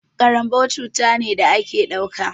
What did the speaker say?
Ƙaranbau cuta ne da a ke ɗauka.